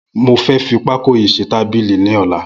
Mó fẹ̀ fi pákó yi ṣé tàbílì lọ̀lá